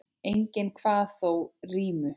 Enginn kvað þó rímu.